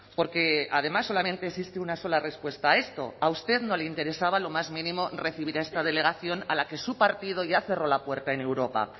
porque además solamente existe una sola respuesta a esto a usted no le interesaba lo más mínimo recibir a esta delegación a la que su partido ya cerró la puerta en europa